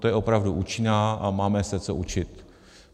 Ta je opravdu účinná a máme se co učit.